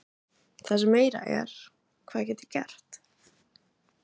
Það sem meira er, hvað get ég gert?